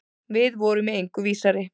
Við vorum í engu vísari.